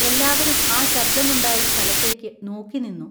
എല്ലാവരും ആ ശബ്ദം ഉണ്ടായ സ്ഥലത്തേക്കു നോക്കിനിന്നു.